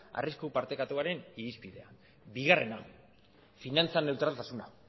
arrisku partekatuaren irizpidea bigarrena finantza neutraltasuna